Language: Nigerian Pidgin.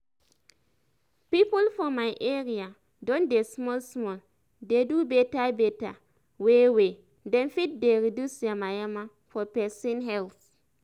people for my area don dey small small dey do beta beta way wey dem fit dey reduce yamayama for pesin health